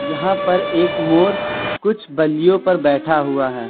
यहां पर एक मोर कुछ बलियों पर बैठा हुआ है।